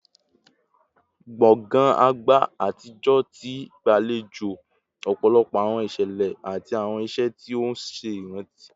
Gbongan agba atijọ ti gbalejo ọpọlọpọ awọn iṣẹlẹ ati awọn iṣe ti o ṣe iranti